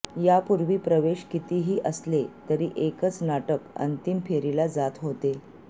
यापूर्वी प्रवेश कितीही असले तरी एकच नाटक अंतिम फेरीला जात होते